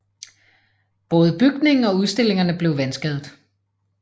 Både bygningen og udstillingerne blev vandskadet